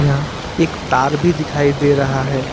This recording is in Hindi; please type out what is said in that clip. यहां एक तार भी दिखाई दे रहा है।